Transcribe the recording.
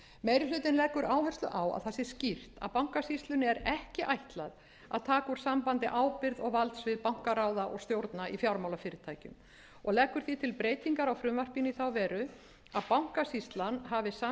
meiri hlutinn leggur áherslu á að það sé skýrt að bankasýslunni er ekki ætlað að taka úr sambandi ábyrgð og valdsvið bankaráða og stjórna í fjármálafyrirtækjum og leggur því til breytingar á frumvarpinu í þá veru að bankasýslan hafi samskipti við stjórnir